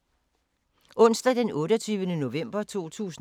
Onsdag d. 28. november 2018